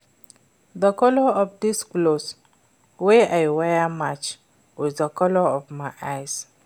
The colour of dis cloth wey I wear match with the colour of my eye